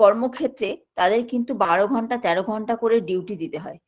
কর্মক্ষেত্রে তাদের কিন্তু বারো ঘন্টা তেরো ঘন্টা করে duty দিতে হয়